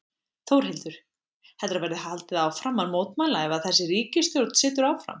Þórhildur: Heldurðu að það verði haldið áfram að mótmæla ef að þessi ríkisstjórn situr áfram?